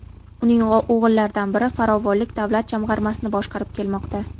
Uning o‘g‘illaridan biri Farovonlik davlat jamg‘armasini boshqarib kelmoqda.